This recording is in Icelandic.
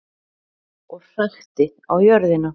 Og hrækti á jörðina.